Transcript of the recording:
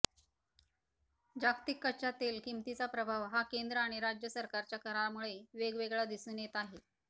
जागतिक कच्चा तेल किमतीचा प्रभाव हा केंद्र आणि राज्य सरकारच्या करामुळे वेगवेगळा दिसून येत आहे